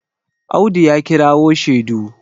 Audu ya kirawo shedu